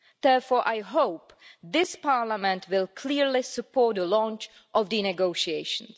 Therefore I hope this Parliament will clearly support the launch of the negotiations.